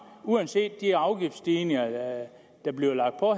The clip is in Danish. uanset de afgiftsstigninger der bliver lagt på